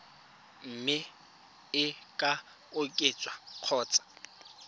mme e ka oketswa kgotsa